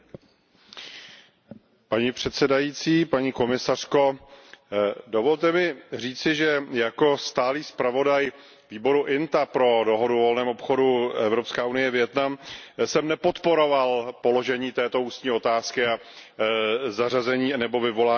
Vážená paní předsedající, paní komisařko, dovolte mi říci, že jako stálý zpravodaj výboru INTA pro dohodu o volném obchodu Evropská unie Vietnam jsem nepodporoval položení této ústní otázky a zařazení nebo vyvolání této debaty.